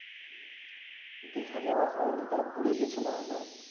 দিঘা যাওয়া হয় নি তবে পুরি গিয়ে ছিলাম একবার